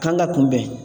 Kan ka kunbɛn